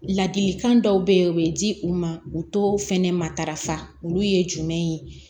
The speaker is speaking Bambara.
Ladilikan dɔw bɛ yen o bɛ di u ma u dɔw fɛnɛ matarafa olu ye jumɛn ye